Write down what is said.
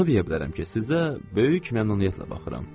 Onu deyə bilərəm ki, sizə böyük məmnuniyyətlə baxıram.